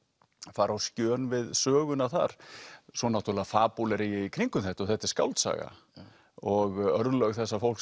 fara á skjön við söguna þar svo náttúrulega fabúlera ég í kringum þetta og þetta er skáldsaga og örlög þessa fólks